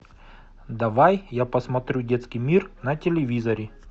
давай я посмотрю детский мир на телевизоре